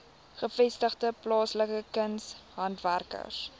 gevestigde plaaslike kunshandwerkers